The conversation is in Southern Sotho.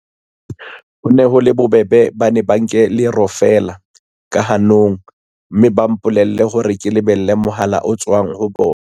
"Ho ne ho le bobebe, ba ne ba nke lero feela ka hanong, mme ba mpolella hore ke lebelle mohala o tswang ho bona."